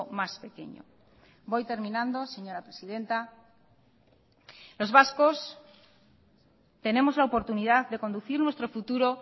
más pequeño voy terminando señora presidenta los vascos tenemos la oportunidad de conducir nuestro futuro